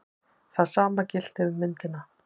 Það sama gilti um myndina.